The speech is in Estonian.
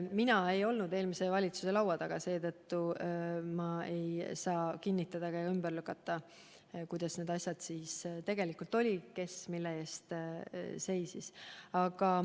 Mina ei olnud eelmise valitsuse laua taga ja seetõttu ma ei saa kinnitada ega ümber lükata, kuidas need asjad tegelikult olid ja kes mille eest seisis.